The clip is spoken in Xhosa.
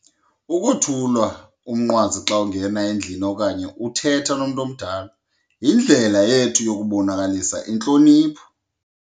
Ukuthulwa umnqwazi xa ungena endlini okanye uthetha nomntu omdala yindlela yethu yokubonakalisa intlonipho.